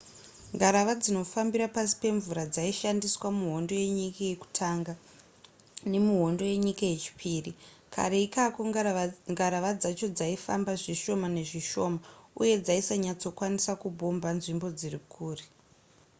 ngarava dzinofambira pasi pemvura dzaishandiswa muhondo yenyika yekutanga nemuhondo yenyika yechipiri kare ikako ngarava dzacho dzaifamba zvishoma nezvishoma uye dzaisanyatsokwanisa kubhomba nzvimbo dziri kure